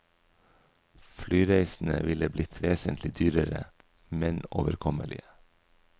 Flyreisene ville blitt vesentlig dyrere, men overkommelige.